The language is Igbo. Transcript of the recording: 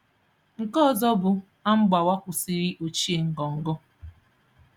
Nke ọzọ bụ; A mgbawa kwụsịrị ochie ngọngọ.